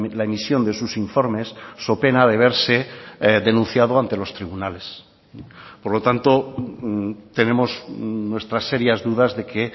la emisión de sus informes so pena de verse denunciado ante los tribunales por lo tanto tenemos nuestras serias dudas de que